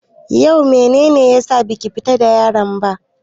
Yau mene ne ya sa baki fita da yaran ba?